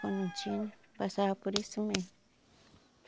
Quando não tinha, passava por isso mesmo.